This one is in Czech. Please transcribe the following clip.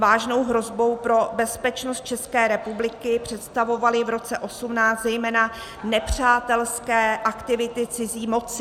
Vážnou hrozbu pro bezpečnost České republiky představovaly v roce 2018 zejména nepřátelské aktivity cizí moci.